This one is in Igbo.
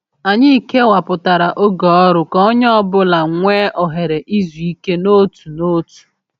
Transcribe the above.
Anyị kewapụtara oge ọrụ ka onye ọ bụla nwee ohere izu ike n’otu n’otu.